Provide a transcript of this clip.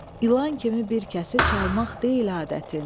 İlan kimi bir kəsi çalmaq deyil adətin.